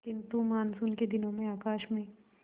किंतु मानसून के दिनों में आकाश में